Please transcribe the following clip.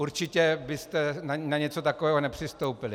Určitě byste na něco takového nepřistoupili.